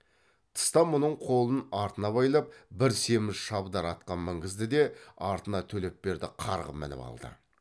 тыста мұның қолын артына байлап бір семіз шабдар атқа мінгізді де артына төлепберді қарғып мініп алды